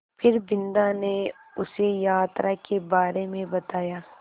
फिर बिन्दा ने उसे यात्रा के बारे में बताया